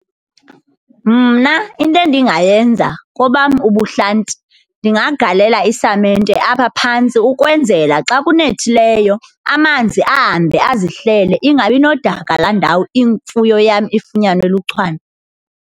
Mna into endingayenza kobam ubuhlanti ndingagalela isamenete apha phantsi ukwenzela xa kunethileyo amanzi ahambe azihlele ingabi nodaka laa ndawo imfuyo yam ifunyanwe luchwane.